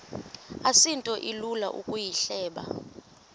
asinto ilula ukuyihleba